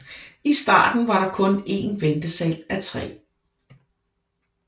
I starten var der kun en ventesal af træ